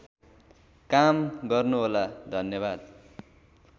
काम गर्नुहोला धन्यवाद